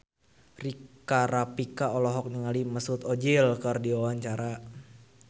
Rika Rafika olohok ningali Mesut Ozil keur diwawancara